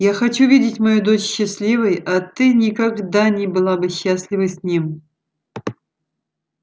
я хочу видеть мою дочь счастливой а ты никогда не была бы счастлива с ним